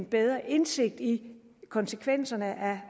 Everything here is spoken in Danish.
bedre indsigt i konsekvenserne af